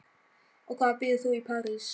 Og hvar býrð þú í París?